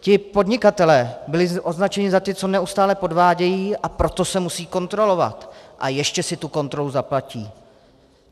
Ti podnikatelé byli označeni za ty, co neustále podvádějí, a proto se musí kontrolovat, a ještě si tu kontrolu zaplatí.